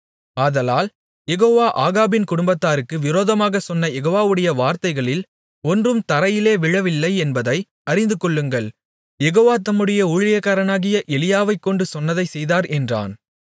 ஆதலால் யெகோவா ஆகாபின் குடும்பத்தாருக்கு விரோதமாகச் சொன்ன யெகோவாவுடைய வார்த்தைகளில் ஒன்றும் தரையிலே விழவில்லை என்பதை அறிந்துகொள்ளுங்கள் யெகோவா தம்முடைய ஊழியக்காரனாகிய எலியாவைக்கொண்டு சொன்னதைச் செய்தார் என்றான்